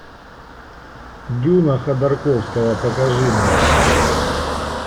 дюна ходорковского покажи мне